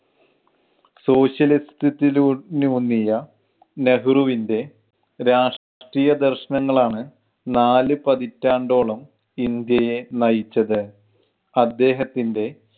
socialist ത്തിലൂ ലൂന്നിയ നെഹ്രുവിൻ്റെ രാഷ്ട്രീയ ദർശനങ്ങളാണ് നാല് പതിറ്റാണ്ടോളം ഇന്ത്യയെ നയിച്ചത്. അദ്ദേഹത്തിൻ്റെ